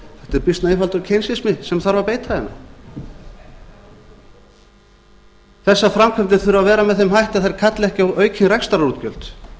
er býsna einfaldur barm þarf að beita hérna þessar framkvæmdir þurfa að vera með þeim hætti að þær kalli ekki á aukin rekstrarútgjöld